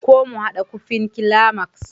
ko mu hada kufin climax?